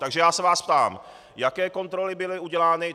Takže já se vás ptám, jaké kontroly byly udělány.